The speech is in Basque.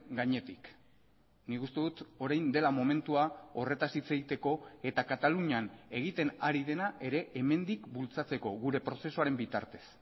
gainetik nik uste dut orain dela momentua horretaz hitz egiteko eta katalunian egiten ari dena ere hemendik bultzatzeko gure prozesuaren bitartez